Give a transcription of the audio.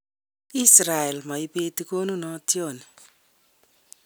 Israel maibeti konunotiot ni"